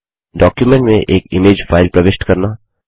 document में एक image file प्रविष्ट करना